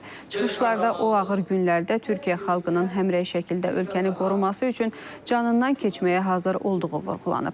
Çıxışlarda o ağır günlərdə Türkiyə xalqının həmrəy şəkildə ölkəni qoruması üçün canından keçməyə hazır olduğu vurğulanıb.